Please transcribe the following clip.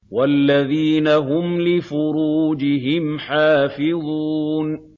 وَالَّذِينَ هُمْ لِفُرُوجِهِمْ حَافِظُونَ